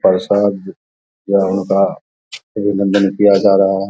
प्रसाद जागरण का अभिनंदन किया जा रहा है।